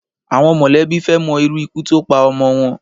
Àwọn mọ̀lẹ́bí fẹ́ mọ irú ikú tó pa ọmọ wọn